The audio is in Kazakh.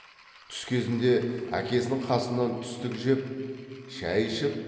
түс кезінде әкесінің қасынан түстік жеп шай ішіп